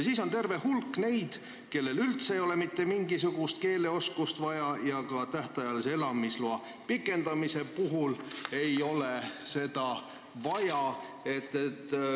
Siis on veel terve hulk neid, kellel ei ole üldse mitte mingisugust keeleoskust vaja, ja ka tähtajalise elamisloa pikendamise puhul ei ole seda vaja.